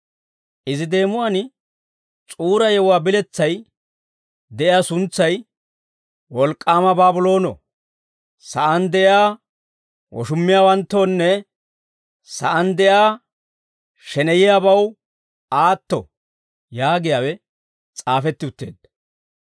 Izi deemuwaan S'uura yewuwaa biletsay de'iyaa suntsay, «Wolk'k'aama Baabloono; Sa'aan De'iyaa Woshummiyaawanttoonne Sa'aan De'iyaa Sheneyiyaabaw Aatto» yaagiyaawe s'aafetti utteedda.